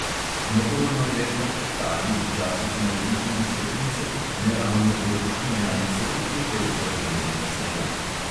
Notorno je, da teptalnik včasih naredi tudi stopnice, neravne površine ali celo kepe zmrznjenega snega.